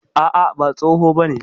A'a, ba tsoho bane.